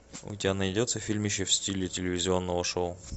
у тебя найдется фильмище в стиле телевизионного шоу